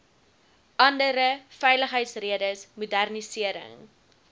andere veiligheidsredes modernisering